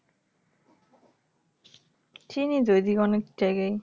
চিনি তো ঐদিকে অনেক জায়গাই